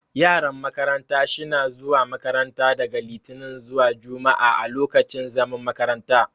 Yaran makaranta sh na zuwa makaranta daga litinin zuwa jumua'a a lokacin zaman makaranta.